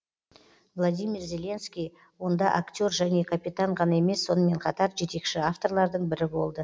владимир зеленский онда актер және капитан ғана емес сонымен қатар жетекші авторлардың бірі болды